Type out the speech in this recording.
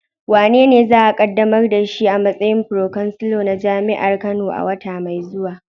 Wanene za a kaddamar da shi a matsayin Pro-chancellor na jami'ar Kano a wata mai zuwa?